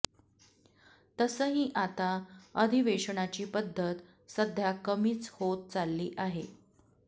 तसंही आता अधिवेशनाची पद्धत सध्या कमीच होत चालली आहे